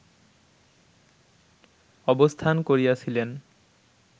অবস্থান করিয়াছিলেন